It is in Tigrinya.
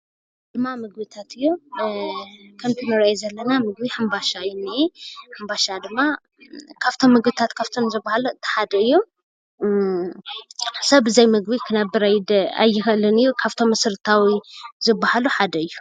እንዳ ምግብታት እዮም፡፡ እዚ እንሪኦ ዘለና ሕምባሻ እዩ ዝንሄ፡፡ ሕንባሻ ድማ ካብቶም ምግብታት ዝባሃሉ ሓደ እዩ፡፡ ሰብ ብዘይ ምግቢ ክነብር አይክእልን እዩ፡፡ ካብቶም መሰራታዊ ዝባሃሉ ሓደ እዩ፡፡